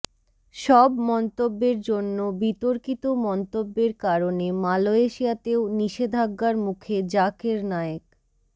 সব মন্তব্যের জন্য বিতর্কিত মন্তব্যের কারণে মালয়েশিয়াতেও নিষেধাজ্ঞার মুখে জাকির নায়েক